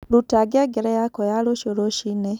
rũta ngengere yakwa ya rũciũ rũcĩĩnĩ